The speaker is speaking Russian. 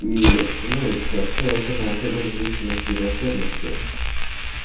и становится следовательно очагом независимости и враждебности